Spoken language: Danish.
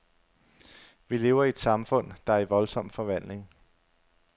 Vi lever i et samfund, der er i voldsom forvandling.